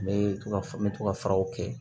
N bɛ to ka me to ka faraw kɛ